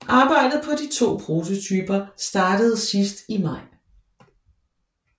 Arbejdet på de to prototyper startede sidst i maj